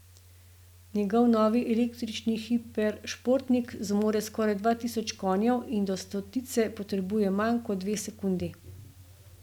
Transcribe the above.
Njegov novi električni hiperšportnik zmore skoraj dva tisoč konjev in do stotice potrebuje manj kot dve sekundi.